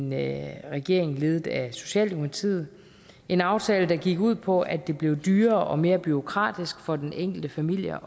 med en regering ledet af socialdemokratiet en aftale der gik ud på at det blev dyrere og mere bureaukratisk for den enkelte familie